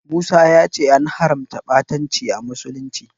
Musa ya ce an haramta ɓatanci a musulunci.